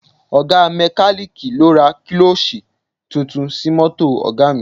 Ọ̀ga mẹ́kalíìkì lọ ra kílọ́ọ̀ṣì tuntun sí mọ́tò Ọ̀ga mi